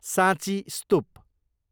साँची स्तुप